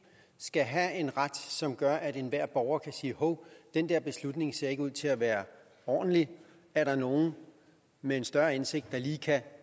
skal have en ret som gør at enhver borger kan sige hov den der beslutning ser ikke ud til at være ordentlig er der nogle med en større indsigt der lige kan